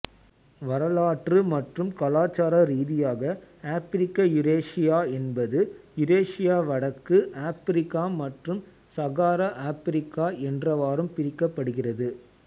வரலாற்று மற்றும் கலாச்சார ரீதியாக ஆப்பிரிக்கயூரேசியா என்பது யூரேசியாவடக்கு ஆப்பிரிக்கா மற்றும் சகாரா ஆப்பிரிக்கா என்றவாறும் பிரிக்கப்படுகிறது